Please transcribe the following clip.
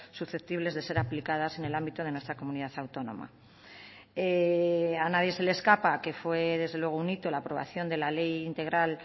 susceptibles de ser aplicadas en el ámbito de nuestra comunidad autónoma a nadie se le escapa que fue desde luego un hito la aprobación de la ley integral